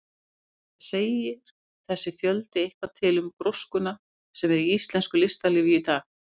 Jóhann: Segir þessi fjöldi eitthvað til um gróskuna sem er í íslensku listalífi í dag?